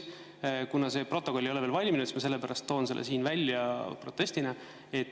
Kuna see protokoll ei ole veel valminud, siis ma toon selle siin välja protestina.